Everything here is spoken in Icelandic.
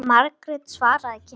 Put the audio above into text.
Margrét svaraði ekki.